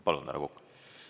Palun, härra Kokk!